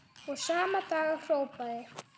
Og sama dag hrópaði